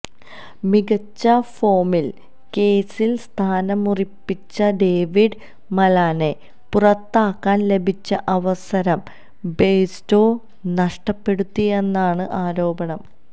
മികച്ച ഫോമില് ക്രീസില് സ്ഥാനമുറപ്പിച്ച ഡേവിഡ് മലാനെ പുറത്താക്കാന് ലഭിച്ച അവസരം ബെയര്സ്റ്റോ നഷ്ടപ്പെടുത്തിയെന്നാണ് ആരോപണം